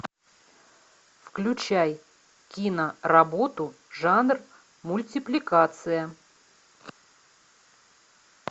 включай киноработу жанр мультипликация